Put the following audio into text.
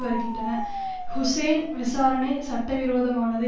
வருகின்றன ஹூசேன் விசாரணை சட்டவிரோதமானது